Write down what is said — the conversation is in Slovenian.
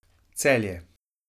Celje.